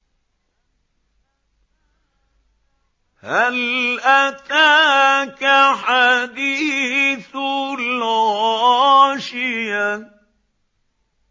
هَلْ أَتَاكَ حَدِيثُ الْغَاشِيَةِ